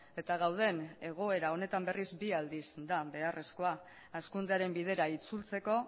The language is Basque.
eta gauden egoera honetan berriz bi aldiz da beharrezkoa hazkundearen bidera itzultzeko